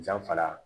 Danfara